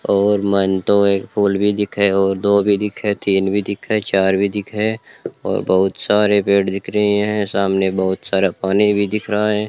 और मन तो एक पूल भी दिखे और दो भी दिखे तीन भी दिखे चार भी दिखे और बहुत सारे पेड़ दिख रही हैं सामने बहुत सारा पानी भी दिख रहा है।